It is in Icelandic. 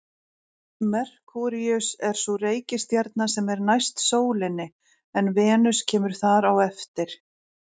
Merkúríus er sú reikistjarna sem er næst sólinni en Venus kemur þar á eftir.